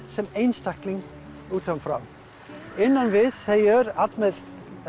sem einstakling utan frá innan við þau öll með